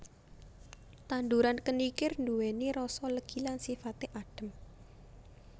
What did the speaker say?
Tanduran kenikir nduwèni rasa legi lan sifaté adhem